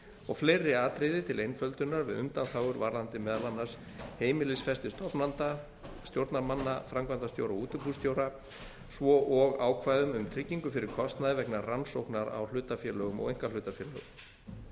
og fleiri atriði til einföldunar við undanþágur varðandi meðal annars heimilisfesti stofnenda stjórnarmanna framkvæmdastjóra og útibússtjóra svo og ákvæðum um tryggingu fyrir kostnaði vegna rannsóknar á hlutafélögum og einkahlutafélögum